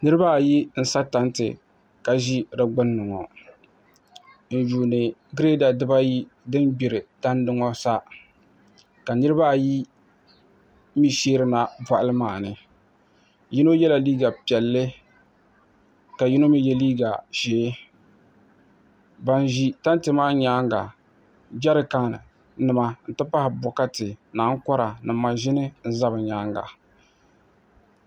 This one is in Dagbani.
Nirabaayi n sa tanti ka ʒi di gbunni ŋi n yuundi Girɛda dibayi din gbiri tandi ŋo sa ka nirabaayi mii sheerina boɣali maa ni yino yɛla liiga piɛlli ka yino mii yɛ liiga ʒiɛ ban ʒi tanti maa nyaanga jɛrikan nima n ti pahi bokati ni ankora ni maʒini n ʒɛ bi nyaanga